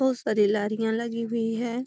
खूब सारी लारियां लगी हुए है |